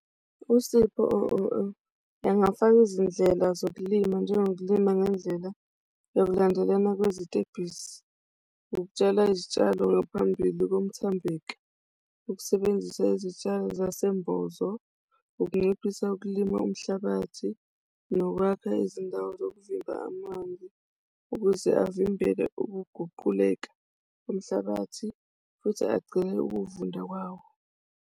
Usipho engafaka izindlela zokulima njengokulima ngendlela ekulandelana kwezitebhisi. Ukutshala izitshalo ngaphambili komthambeki ukusebenzisa izitshalo zasembozo, ukunciphisa ukulima umhlabathi nokwakha izindawo yokuvimba amanzi ukuze avimbele ukuguquleka umhlabathi futhi agcine ukuvunda kwawo.